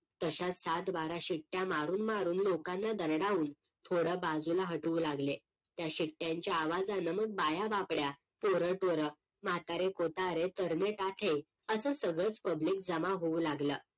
तसाच सातबारा शिट्या मारून मारून लोकांना दरडावून पोरं बाजूला हटवू लागले त्या शिट्यांच्या आवाजानं मग बाया बापड्या पोरं टोर म्हातारे कोतारे तरणे ताठे आता सगळंच PUBLIC जमा होऊ लागलं